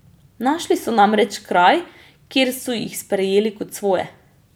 Našli so namreč kraj, kjer so jih sprejeli kot svoje.